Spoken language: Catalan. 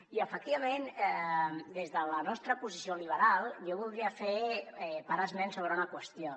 i efectivament des de la nostra posició liberal jo voldria parar esment sobre una qüestió